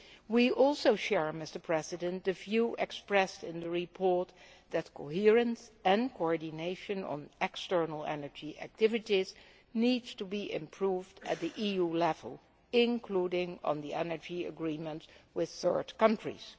We also share the view expressed in the report that coherence and coordination on external energy activities needs to be improved at EU level, including on the energy agreements with third countries.